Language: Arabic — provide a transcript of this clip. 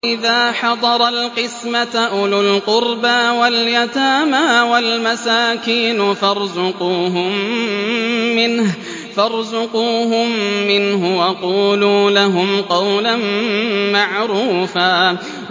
وَإِذَا حَضَرَ الْقِسْمَةَ أُولُو الْقُرْبَىٰ وَالْيَتَامَىٰ وَالْمَسَاكِينُ فَارْزُقُوهُم مِّنْهُ وَقُولُوا لَهُمْ قَوْلًا مَّعْرُوفًا